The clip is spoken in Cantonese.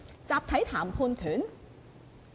集體談判權？